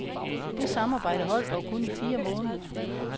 Det samarbejde holdt dog kun i fire måneder.